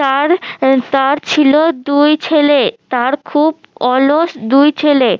তার আহ তার ছিল দুই ছেলে তার খুব অলস দুই ছেলে